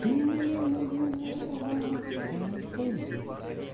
ты меня называла фантазёр